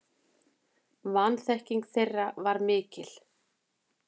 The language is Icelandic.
Vanþekking þeirra var mikil.